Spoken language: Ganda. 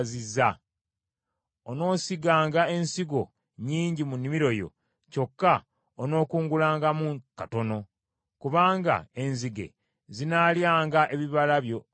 Onoosiganga ensigo nnyingi mu nnimiro yo, kyokka onookungulangamu katono, kubanga enzige zinaalyanga ebibala byo byonna.